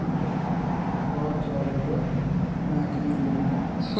ore iltungsnsk oots olodua naa keyieng'uni